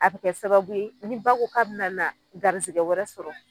A bi kɛ sababu ye ni ba ko k'a bi na na garisigɛ wɛrɛ sɔrɔ